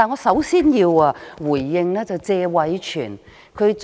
首先，我要回應謝偉銓議員。